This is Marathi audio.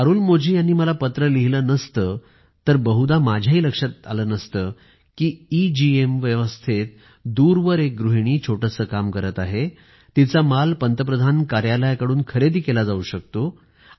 जर अरुलमोझी यांनी मला पत्रं लिहिलं नसत तर बहुदा माझ्याही ध्यानात आलं नसतं की एगेम व्यवस्थेत दूरवर एक गृहिणी छोटंसं काम करत आहे तिचा माल पंतप्रधान कार्यालयाकडून खरेदी केला जाऊ शकतो